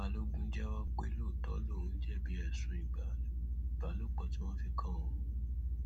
balógun jẹwọ pé lóòótọ lòún jẹbi ẹsùn ìbálòpọ tí wọn fi kan òun